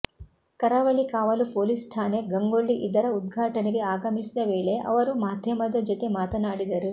ಕರಾವಳಿ ಕಾವಲು ಪೊಲೀಸ್ ಠಾಣೆ ಗಂಗೊಳ್ಳಿ ಇದರ ಉದ್ಘಾಟನೆಗೆ ಆಗಮಿಸಿದ ವೇಳೆ ಅವರು ಮಾಧ್ಯಮದ ಜೊತೆ ಮಾತನಾಡಿದರು